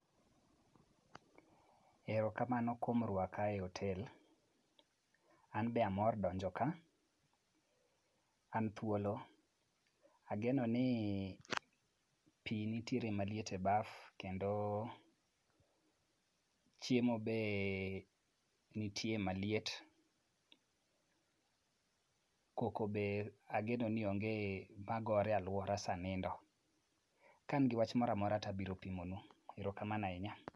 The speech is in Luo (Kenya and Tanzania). Ero kamano kuom rwaka e otel, an bende amor donjo ka. an thuolo. Ageno ni pi nitiere maliet e baf kendo chiemo be nitie maliet, koko be ageno ni onge magore e alwora sa nindo. Ka an gi wach mora mora tabiro pimo nu. Erokamano ahinya.